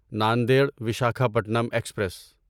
Nanded Visakhapatnam express